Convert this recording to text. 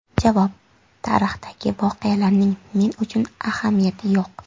Javob: Tarixdagi voqealarning men uchun ahamiyati yo‘q.